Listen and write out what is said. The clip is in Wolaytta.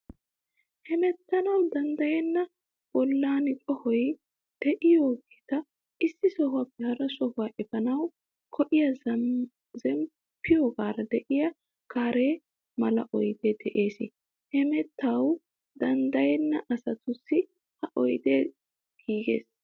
Hemettanawu danddayenna bollan qohoy de'iyogeeta issi sohuwaappe hara sohuwaa efaanawu go'iya zemppiyogaara de'iya gaare mala oydee de"ees. Hemettanawu danddayenna asatussi ha oydee giigees.